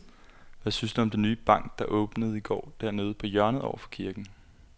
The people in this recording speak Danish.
Hvad synes du om den nye bank, der åbnede i går dernede på hjørnet over for kirken?